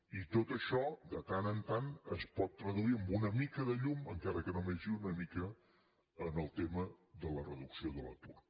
i tot això de tant en tant es pot traduir en una mica de llum encara que només sigui una mica en el tema de la reducció de l’atur